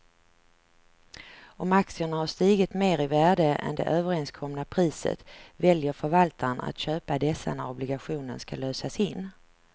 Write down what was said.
Om aktierna har stigit mer i värde än det överenskomna priset väljer förvaltaren att köpa dessa när obligationen ska lösas in.